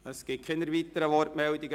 Es gibt keine weiteren Wortmeldungen.